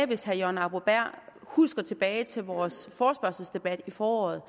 hvis herre jørgen arbo bæhr husker tilbage til vores forespørgselsdebat i foråret